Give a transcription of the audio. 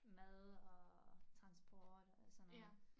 Mad og transport alt sådan noget